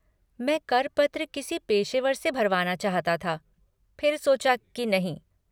मैं कर पत्र किसी पेशेवर से भरवाना चाहता था, फिर सोचा की नहीं।